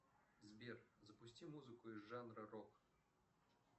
сбер запусти музыку из жанра рок